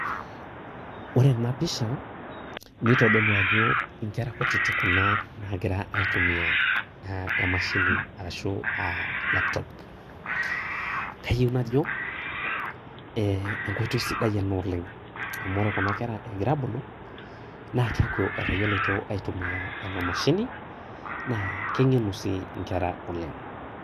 Ore enapisha nitodolu ajo nkera kutitik kuna nagira aitumia emashini ashu a laptop kayio najo enkoitoi sidai oleng amu ore kuna kera egira abulu naa keaku etayioloto aitumia enamashini na kengenu si nkera oleng.